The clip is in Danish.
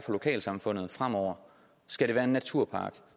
lokalsamfundet fremover skal det være en naturpark